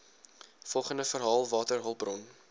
volgende verhaal waterhulpbron